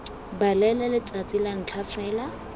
balele letsatsi la ntlha fela